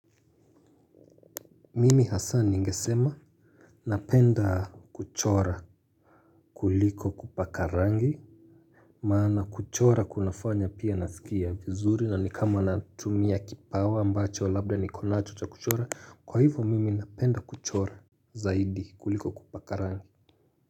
Mimi Hassan ningesema napenda kuchora kuliko kupaka rangi. Maana kuchora kunafanya pia naskia vizuri na ni kama natumia kipawa ambacho labda nikonacho cha kuchora. Kwa hivyo mimi napenda kuchora zaidi kuliko kupaka rangi.